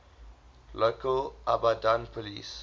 local abadan police